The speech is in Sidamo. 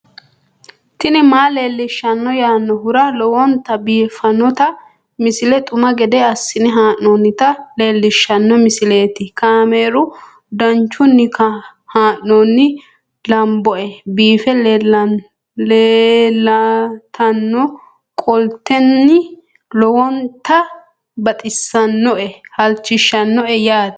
tini maa leelishshanno yaannohura lowonta biiffanota misile xuma gede assine haa'noonnita leellishshanno misileeti kaameru danchunni haa'noonni lamboe biiffe leeeltannoqolten lowonta baxissannoe halchishshanno yaate